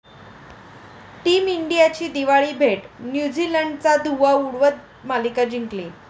team इंडियाची दिवाळी भेट, न्यूझीलंडचा धुव्वा उडवत मालिका जिंकली